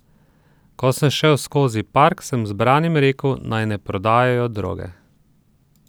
Ko sem šel skozi park, sem zbranim rekel, naj ne prodajajo droge.